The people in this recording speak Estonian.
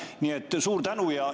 Nii et suur tänu!